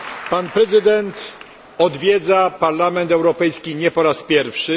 Pan prezydent odwiedza Parlament Europejski nie po raz pierwszy.